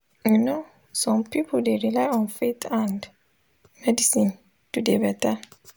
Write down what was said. you no some pipul dey rely on faith and medicine to dey beta.